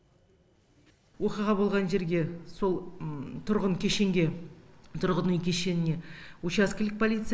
оқиға болған жерге сол тұрғын кешенге тұрғын үй кешеніне учаскелік полиция